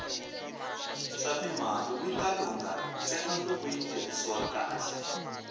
swatimali wita lungha ntsena loko yi tirhisiwa kahle